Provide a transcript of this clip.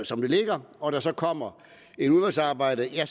som det ligger og der så kommer et udvalgsarbejde er